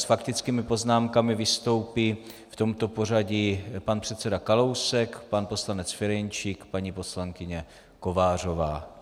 S faktickými poznámkami vystoupí v tomto pořadí pan předseda Kalousek, pan poslanec Ferjenčík, paní poslankyně Kovářová.